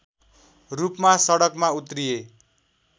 रूपमा सडकमा उत्रिए